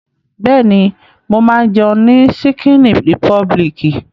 Bẹ́ẹ̀ni, mo máa ń jẹun ní ṣíkíní rìpọbìlìkì.